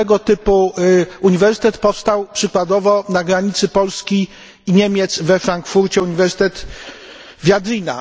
Tego typu uniwersytet powstał przykładowo na granicy Polski i Niemiec we Frankfurcie Uniwersytet Viadrina.